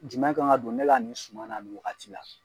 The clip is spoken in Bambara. jumɛn kan ka don ne ka nin suma na nin wagati la.